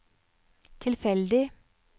tilfeldig